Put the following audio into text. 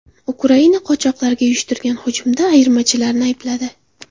Ukraina qochoqlarga uyushtirilgan hujumda ayirmachilarni aybladi.